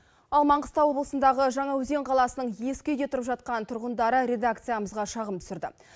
ал маңғыстау облысындағы жаңаөзен қаласының ескі үйде тұрып жатқан тұрғындары редакциямызға шағым түсірді